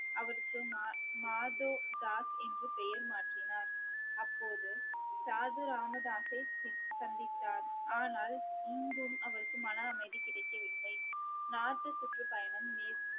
அவருக்கு மா~ மாதோதாஸ் என்று பெயர் மாற்றினார் அப்போது சாது ராமதாஸை சி~ சந்தித்தார் ஆனால் இங்கும் அவருக்கு மன அமைதி கிடைக்கவில்லை சுற்றுப்பயணம் மேற்~